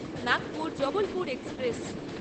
Nagpur Jabalpur express